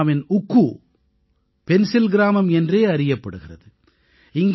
புல்வாமாவின் உக்கூ பென்சில் கிராமம் என்றே அறியப்படுகிறது